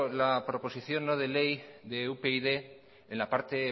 la proposición no de ley de upyd en la parte